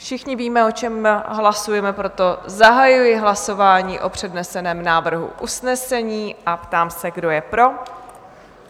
Všichni víme, o čem hlasujeme, proto zahajuji hlasování o předneseném návrhu usnesení a ptám se, kdo je pro?